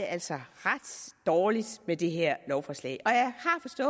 altså ret dårligt med det her lovforslag